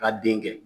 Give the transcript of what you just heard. Ka den kɛ